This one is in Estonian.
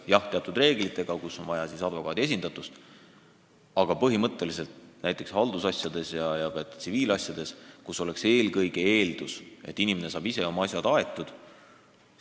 Jah, teatud olukordades on vaja advokaadi esindatust, aga põhimõtteliselt on haldusasjades ja ka tsiviilasjades eelkõige eeldus, et inimene saab ise oma asjad aetud.